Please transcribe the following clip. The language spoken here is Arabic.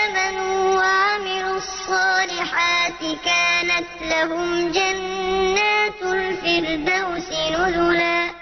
آمَنُوا وَعَمِلُوا الصَّالِحَاتِ كَانَتْ لَهُمْ جَنَّاتُ الْفِرْدَوْسِ نُزُلًا